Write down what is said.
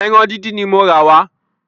Ẹran dídín ní mo rà wà